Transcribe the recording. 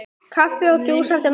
Kaffi og djús eftir messu.